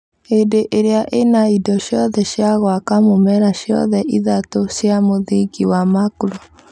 Hĩndĩ ĩrĩa ĩna indo ciothe cia gwaka mũmera ciothe ithatũ cia mũthingi wa macro